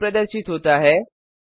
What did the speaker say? output प्रदर्शित होता है